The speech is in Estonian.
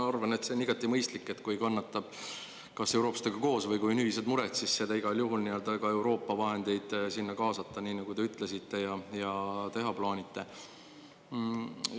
Ma arvan, et see on igati mõistlik, kui kannatab, et kas eurooplastega koos, või kui on ühised mured, siis igal juhul ka Euroopa vahendeid sinna kaasata, nii nagu te ütlesite ja teha plaanite.